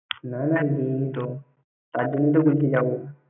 না না গিয়িনি তো। তা্র জন্য তো বলছি যাবো।